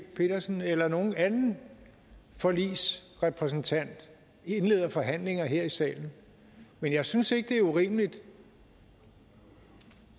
petersen eller nogen anden forligsrepræsentant indleder forhandlinger her i salen men jeg synes ikke det er urimeligt